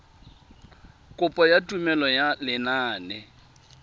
kopo ya tumelelo ya lenane